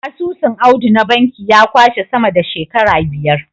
Asusun Audu na banki ya kwashe sama da shekara biyar.